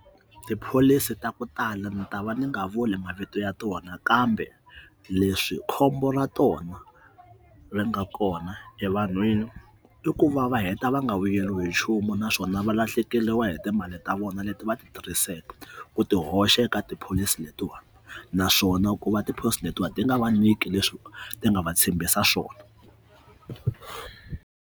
Tipholisi ta ku tala ni ta va ni nga vuli mavito ya tona kambe leswi khombo ra tona ri nga kona evanhwini i ku va va heta va nga vuyeriwi hi nchumu na swona va lahlekeriwa hi timali ta vona leti va ti tirhiseka ku ti hoxa eka tipholisi letiwani naswona ku va tiphilisi letiwani ti nga va nyiki leswi ti nga va tshembisa swona.